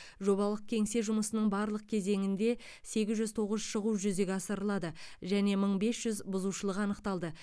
жобалық кеңсе жұмысының барлық кезеңінде сегіз жүз тоғыз шығу жүзеге асырылды және мың бес жүз бұзушылық анықталды